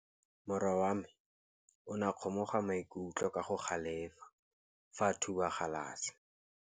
Morwa wa me o ne a kgomoga maikutlo ka go galefa fa a thuba galase.